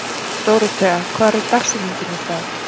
Dórothea, hver er dagsetningin í dag?